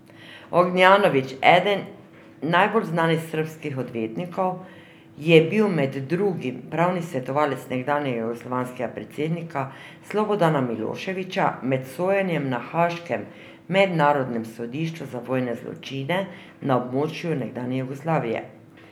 Ognjanović, eden najbolj znanih srbskih odvetnikov, je bil med drugim pravni svetovalec nekdanjega jugoslovanskega predsednika Slobodana Miloševića med sojenjem na haaškem Mednarodnem sodišču za vojne zločine na območju nekdanje Jugoslavije.